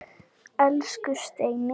Elsku Steini.